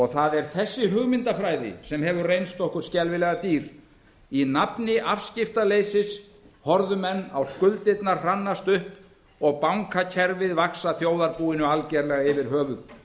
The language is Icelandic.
það er þessi hugmyndafræði sem hefur reynst okkur skelfilega dýr í nafni afskiptaleysi horfðu menn á skuldirnar hrannast upp og bankakerfið vaxa þjóðarbúinu algjörlega yfir höfuð